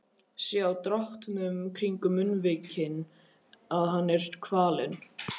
Sé á dráttunum kringum munnvikin að hann er kvalinn.